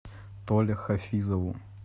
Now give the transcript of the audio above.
толе хафизову